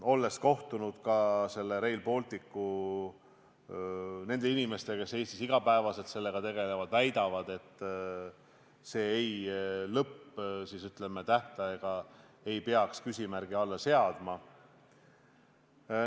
Olen kohtunud ka nende Rail Balticu inimestega, kes Eestis igapäevaselt sellega tegelevad, ja nad väidavad, et lõpptähtaega ei peaks see küsimärgi alla seadma.